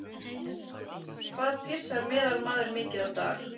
Hvað pissar meðalmaðurinn mikið á dag?